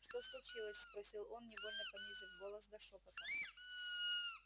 что случилось спросил он невольно понизив голос до шёпота